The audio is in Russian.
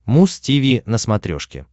муз тиви на смотрешке